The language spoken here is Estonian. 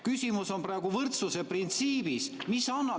Küsimus on praegu võrdsuse printsiibis.